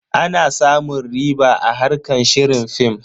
Ana samun riɓa a harkar shirin film.